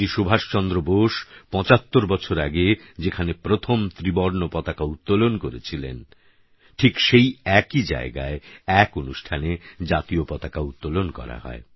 নেতাজী সুভাষচন্দ্র বোস ৭৫বছর আগে যেখানে প্রথম ত্রিবর্ণ পতাকা উত্তোলন করেছিলেন ঠিক সেই একই জায়গায় এক অনুষ্ঠানে জাতীয় পতাকা উত্তোলন করা হয়